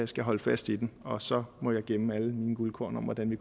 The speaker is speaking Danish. skal holde fast i den og så må jeg gemme alle mine guldkorn om hvordan vi